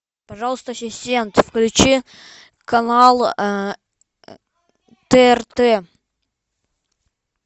пожалуйста ассистент включи канал трт